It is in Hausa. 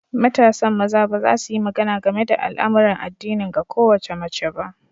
Matasan maza ba za su yi magana game da al'amuran addinin ga kowace mace ba.